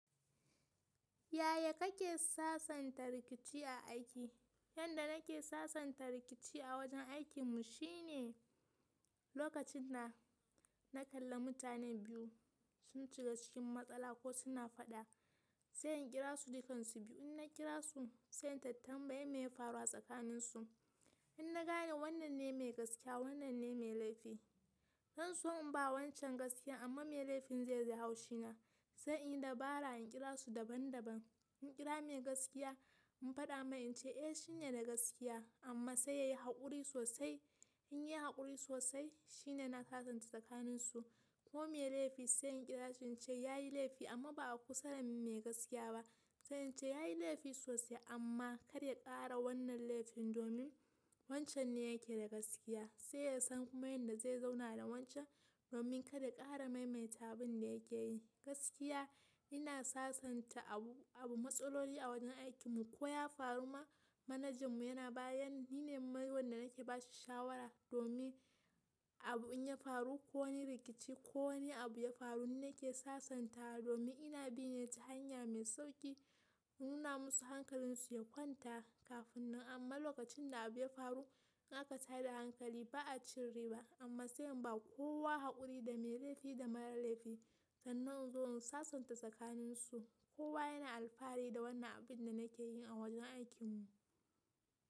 Yaya kake sasanta rikici a aiki? Yanda nake sasanta rikici a wajen aikin mu shine, lokacin da na kalla mutanen biyu sun shiga cikin matsala ko suna faɗa, sai in kira su dukan su biyu. In na kira su sai in tattambayi me ya faru a tsakanin su. In na gane wannan ne mai gaskiya wannan ne mai laifi. Zanso imba wancen gaskiya, amma mai laifin zaiji haushi na sai in yi dabara in kira su daban daban. In kira mai gaskiya in faɗa mai in ce "Eh shine na gaskiya amma sai yayi haƙuri sosai." In yayi haƙuri sosai shine na sasanta tsakanin su. Ko mai laifi sai in kira shi ce yayi laifi amma ba a kusa da mai gaskiya ba. Sai in ce yayi laifi sosai amma kar ya ƙara wannan laifin domin wancan ne yake da gaskiya. Sai yasan kuma yanda zai zauna da wancen domin kar ya kara maimaita abinda yakeyi. Gaskiya ina sasanta abu, abu matsaloli a wajen aikin mu. Koh ya faruma manager mu yana bayan, nine wanda nake bashi shawara domin abu in ya faru ko wani rikici ko wani abu ya faru nine ke sasanta domin ina binne ta hanya mai sauƙi nuna masu hankalin su ya kwanta kafin nan. Amma lokachin da abu ya faru, in aka tada hankali, ba, achin riba amma sai inba kowa hakuri da mai laifi da marar laifi. Sannan in zo in sasanta tsakanin su. Kowa yana alfahari da wannan abin da nake yi a wajen aikin mu.